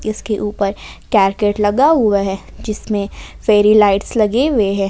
इसके ऊपर कैरकेट लगा हुआ है जिसमें फेरी लाइट्स लगे हुए हैं।